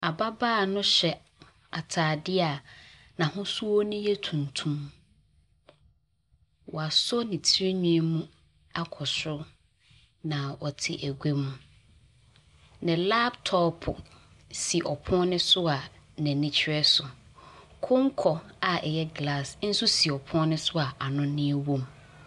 Ababaa no hyɛ ataadeɛ a n'ahosuo no yɛ tuntum. Wɔaso ne tiriwii mu akɔ soro na ɔte egua mu. Ne laptop si ɔpono no so a n'ani kyerɛ so. Konko a ɛyɛ glass nso si ɔpono no so a anɔnaeɛ wɔm.